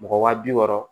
Mɔgɔ waa bi wɔɔrɔ